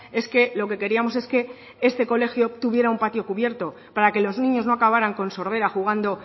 es que lo que queríamos es que este colegio obtuviera un patio cubierto para que los niños no acabaran con sordera jugando